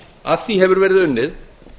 að því hefur verið unnið